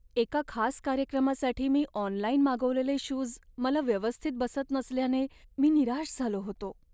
एका खास कार्यक्रमासाठी मी ऑनलाइन मागवलेले शूज मला व्यवस्थित बसत नसल्याने मी निराश झालो होतो.